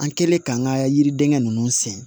An kɛlen k'an ka yiriden ninnu sɛnɛ